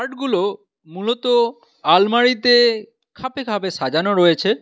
-গুলো মূলত আলমারিতে খাপে খাপে সাজানো রয়েছে।